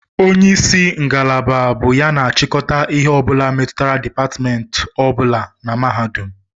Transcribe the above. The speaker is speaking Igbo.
Onye isi ngalaba bụ ya na-achịkọta ihe ọ bụla metụtara dipatmentị ọ bụla na mahadum